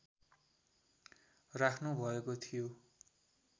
राख्नुभएको थियो